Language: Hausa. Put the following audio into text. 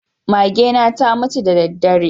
Magena ta mutu da daddare.